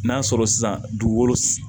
N'a sɔrɔ sisan dugukolo